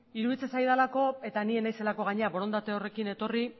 iruditzen zaidalako eta ni ez naizelako gainera borondate horrekin etorri